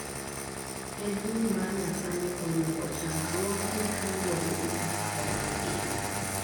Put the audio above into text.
Pedni ma nyasani oyombo chandruogni kaluore gi kaka olosgi